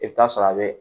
I bɛ taa sɔrɔ a bɛ